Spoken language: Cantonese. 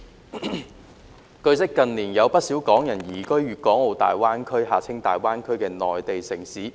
主席，據悉，近年有不少港人移居粵港澳大灣區的內地城市。